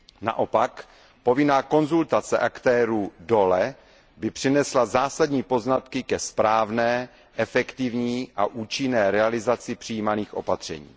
Naopak, povinná konzultace aktérů dole by přinesla zásadní poznatky ke správné, efektivní a účinné realizaci přijímaných opatření.